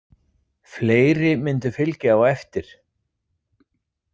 Fleiri myndu fylgja á eftir.